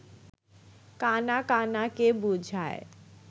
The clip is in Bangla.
কাণা কাণাকে বুঝায়